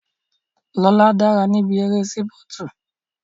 Lóla dára níbi eré sípọ̀tù